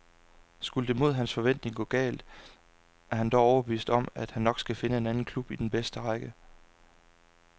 Skulle det mod hans forventning gå galt, er han dog overbevist om, at han nok skal finde en anden klub i den bedste række.